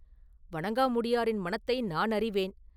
“வணங்காமுடியாரின் மனத்தை நான் அறிவேன்.